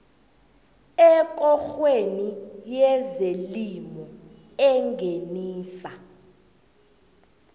ekorweni yezelimo engenisa